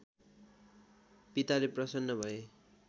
पिताले प्रसन्न भए